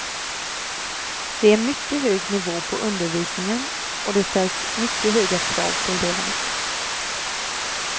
Det är mycket hög nivå på undervisningen och det ställs mycket höga krav på eleverna.